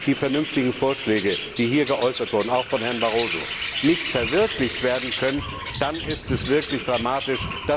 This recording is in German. Wenn die vernünftigen Vorschläge, die hier geäußert wurden, auch von Herrn Barroso, nicht verwirklicht werden können, dann ist es wirklich dramatisch.